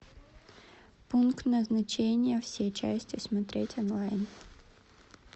пункт назначения все части смотреть онлайн